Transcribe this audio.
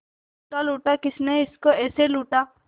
लूटा लूटा किसने उसको ऐसे लूटा